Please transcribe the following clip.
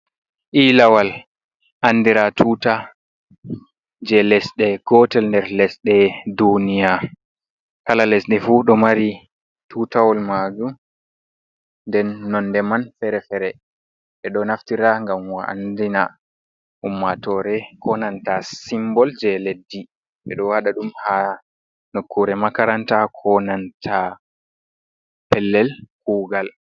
Ilawal, andira tuta je lesɗe gotel nder lesɗe duniya. Kala lesɗe fu ɗo mari tutawol majum, nden nonde man fere fere e. Ɗo naftira gam mo andina ummatore konanta, simbol je leddi. Ɓe ɗo waɗa ɗum ha nokkure makaranta, konanta pellel kugal.